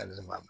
Ali ne ma